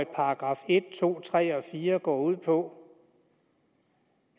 § en to tre og fire går ud på